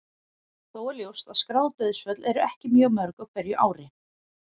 Þó er ljóst að skráð dauðsföll eru ekki mjög mörg á hverju ári.